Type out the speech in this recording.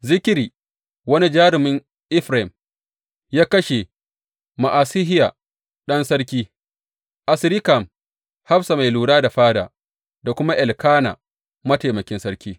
Zikri, wani jarumin Efraim, ya kashe Ma’asehiya ɗan sarki, Azrikam hafsa mai lura da fada, da kuma Elkana, mataimakin sarki.